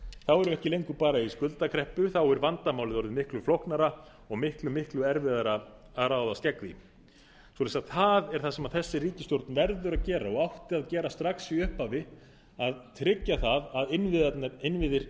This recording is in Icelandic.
þá erum við ekki lengur bara í skuldakreppu þá er vandamálið orðið miklu flóknara og miklu miklu erfiðara að ráðast gegn því svo það er það sem þessi ríkisstjórn verður að gera og átti að gera strax í upphafi að tryggja það að innviðir